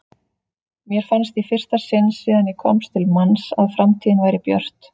Mér fannst í fyrsta sinn síðan ég komst til manns að framtíðin væri björt.